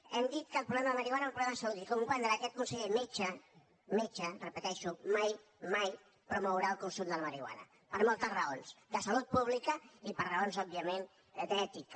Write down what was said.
hem dit que el problema de la marihuana era un problema de salut i comprendrà que aquest conseller metge metge repeteixo mai mai promourà el consum de la marihuana per moltes raons de salut pública i per raons òbviament d’ètica